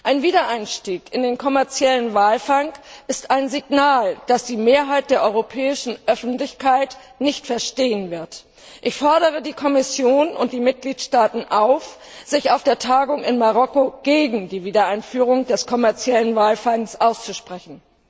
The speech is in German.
Ein Wiedereinstieg in den kommerziellen Walfang ist ein Signal, das die Mehrheit der europäischen Öffentlichkeit nicht verstehen wird. Ich fordere die Kommission und die Mitgliedstaaten auf, sich auf der Tagung in Marokko gegen die Wiedereinführung des kommerziellen Walfangs auszusprechen.